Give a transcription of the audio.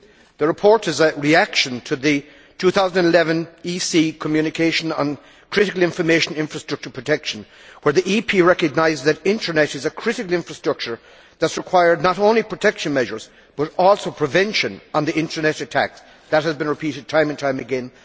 The report is a reaction to the Commission's 2011 Communication on critical information infrastructure protection, where Parliament recognised that the internet is a critical infrastructure that requires not only protection measures but also the prevention of the internet attacks that have been repeated time and time again.